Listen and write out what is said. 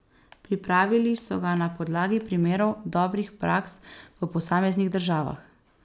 Pripravili so ga na podlagi primerov dobrih praks v posameznih državah.